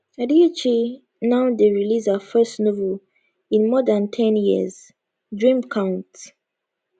adichie now dey release her first novel in more than ten years dream count